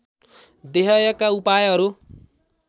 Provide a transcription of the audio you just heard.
देहायका उपायहरू